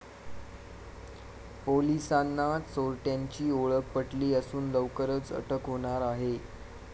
पोलिसांना चोरट्यांची ओळख पटली असून लवकरच अटक होणार आहे.